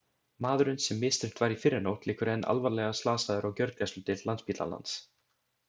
Maðurinn sem misþyrmt var í fyrrinótt liggur enn alvarlega slasaður á gjörgæsludeild Landspítalans.